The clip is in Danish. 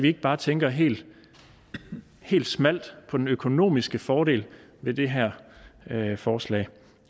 ikke bare tænker helt helt smalt på den økonomiske fordel ved det her forslag